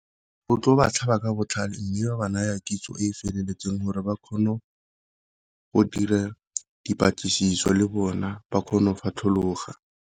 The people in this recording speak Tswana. Go tlo ba tlhaba ka botlhale, mme ba ba naya kitso e e feleletseng gore ba kgone go dira dipatlisiso le bona ba kgone go fatlhologa.